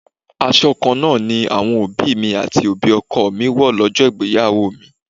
Aṣọ kan náà ni àwọn òbí mi àti òbí ọkọ mi wó lọ́jọ́ ìgbéyàwó mi.